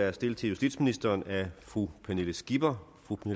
er stillet til justitsministeren af fru pernille skipper